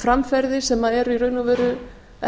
framferði sem er í raun og veru